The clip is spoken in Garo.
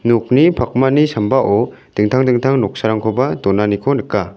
nokni pakmani sambao dingtang dingtang noksarangkoba donaniko nika.